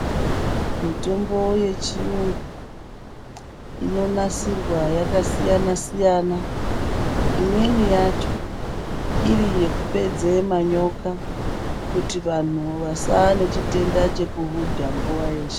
Mitombo yechiyungu inonasirwa yakasiyana siyana, imweni yacho iri yekupedze manyoka kuti vanhu vasaa nechitenda chekuhudha nguwa yeshe.